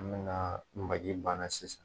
An bɛna don maki banna sisan.